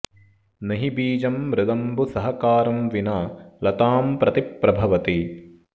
नहि बीजं मृदम्बु सहकारं विना लतां प्रति प्रभवति